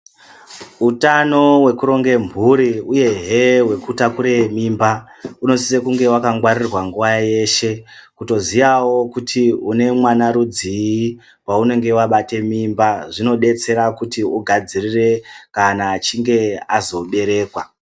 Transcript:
Utano hwekuronge mhuri uyehe hwekutakure mimba unosise kunge wakangwarirwa nguwa yeshe kutoziyawo kuti unemwana rudzii waunenge wabate mimba zvinodetsera kuti ugadzirire kana achinge azoberekwa.